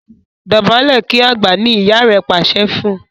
Dobale kí àgbà! ní ìyá rẹ pàṣẹ fún.